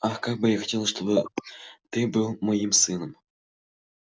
ах как бы я хотела чтобы ты был моим сыном